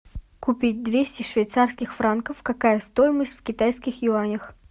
купить двести швейцарских франков какая стоимость в китайских юанях